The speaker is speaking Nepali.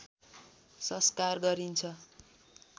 संस्कार गरिन्छ